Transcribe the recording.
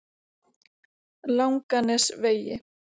Langanesvegi